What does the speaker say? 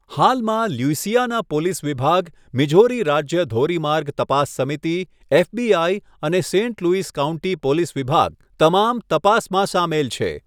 હાલમાં, Louisiana police વિભાગ, Missouri રાજ્ય ધોરીમાર્ગ તપાસ સમિતિ, એફબીઆઇ અને સેન્ટ લૂઇસ કાઉન્ટી પોલીસ વિભાગ, તમામ તપાસમાં સામેલ છે.